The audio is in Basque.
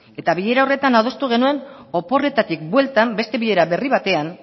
eta bilera horretan adostu genuen oporretatik bueltan beste bilera berri batean